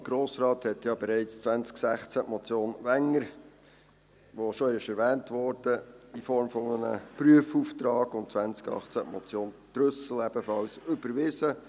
Der Grosse Rat hat ja bereits 2016 die Motion Wenger , die schon erwähnt wurde, in Form eines Prüfauftrags und 2018 die Motion Trüssel ebenfalls überwiesen.